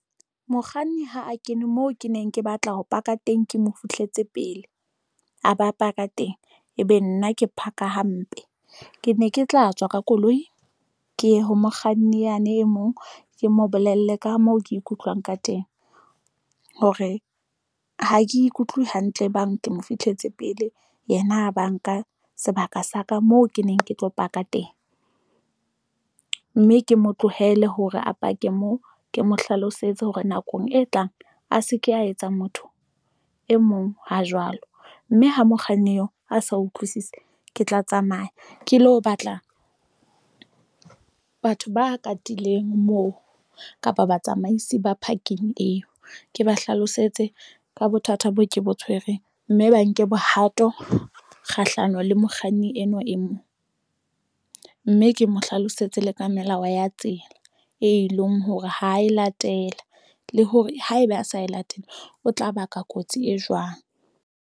Mokganni ha a kene moo ke neng ke batla ho park-a teng, ke mo fihletse pele a ba a park-a teng, ebe nna ke park-a hampe. Ke ne ke tla tswa ka koloi ke ye ho mokganni yane e mong, ke mo bolelle ka moo ke ikutlwang ka teng hore ha ke ikutlwe hantle e bang ke mo fihletse pele, yena a ba nka sebaka sa ka moo ke neng ke tlo park-a teng. Mme ke mo tlohele hore a park-e moo. Ke mo hlalosetse hore nakong e tlang a se ke a etsa motho e mong ha jwalo. Mme ha mokganni eo a sa utlwisisi, ke tla tsamaya ke lo batla batho ba katileng moo, kapa batsamaisi ba parking eo. Ke ba hlalosetse ka bothata boo ke bo tshwereng, mme ba nke bohato kgahlano le mokganni enwa e mong. Mme ke mo hlalosetse le ka melao ya tsela, e leng hore ha a e latela. Le hore haeba a sa e latela, o tla baka kotsi e jwang.